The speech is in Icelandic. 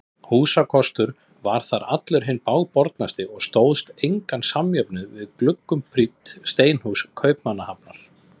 Húsakostur þar var allur hinn bágbornasti og stóðst engan samjöfnuð við gluggum prýdd steinhús Kaupmannahafnar.